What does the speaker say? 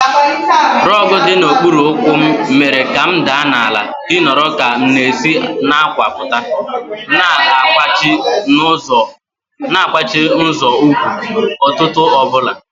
Rogu dị n'okpuru ụkwụ m mere ka m daa n'ala dị nro ka m na-esi n'àkwà pụta, na-akwachi nzọụkwụ ụtụtụ ọ bụla.